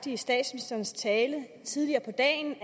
i statsministerens tale tidligere på dagen